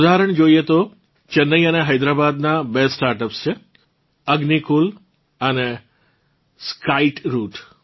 ઉદાહરણ જોઇએ તો ચેન્નઇ અને હૈદ્રાબાદ નાં બે સ્ટાર્ટઅપ્સ છે અગ્નિકુલ અને સ્કાઈટરૂટ